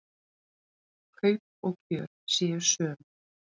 Kaup og kjör séu söm.